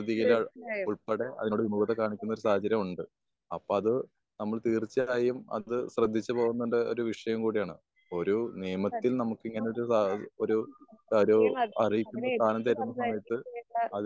തീർച്ചയായും അവരെ എതിർത്ത് സംസാരിക്കയും ചെയ്യണ്ട